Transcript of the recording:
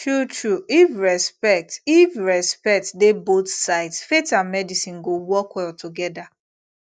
truetrue if respect if respect dey both sides faith and medicine go work well together